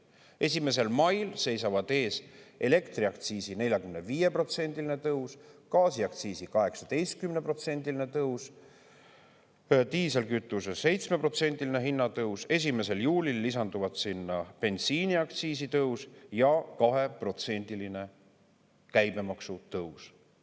Ja 1. mail seisavad ees elektriaktsiisi 45%-line tõus, gaasiaktsiisi 18%-line tõus, diislikütuse 7%-line hinnatõus, 1. juulil lisanduvad sinna bensiiniaktsiisi tõus ja 2%-line käibemaksu tõus.